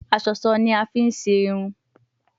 Aṣọṣọ ni a fi ṣe hun